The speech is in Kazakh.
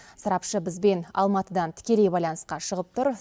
сарапшы бізбен алматыдан тікелей байланысқа шығып тұр